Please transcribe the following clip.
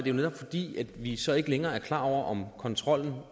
jo netop fordi vi så ikke længere er klar over om kontrollen